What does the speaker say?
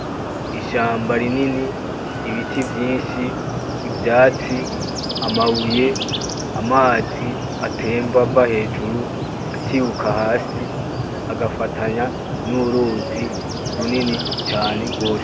Ishamba rinini, ibiti vyinshi, ivyatsi, amabuye, amazi atemba ava hejuru atibuka hasi agafatanya n'uruzi runini cane gwose.